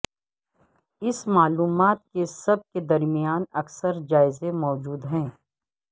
اس معلومات کے سب کے درمیان اکثر جائزے موجود ہے